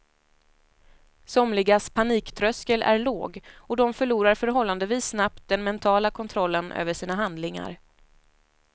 Somligas paniktröskel är låg och de förlorar förhållandevis snabbt den mentala kontrollen över sina handlingar.